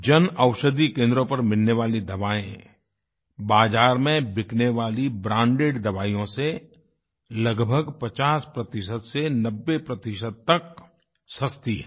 जनऔषधि केन्द्रों पर मिलने वाली दवाएं बाज़ार में बिकने वाली ब्रैंडेड दवाइयों से लगभग 50 से 90 तक सस्ती हैं